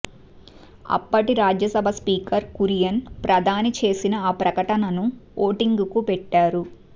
అప్పటి రాజ్యసభ స్పీకర్ కురియన్ ప్రధాని చేసిన ఆ ప్రకటనను ఓటింగుకు పెట్టారు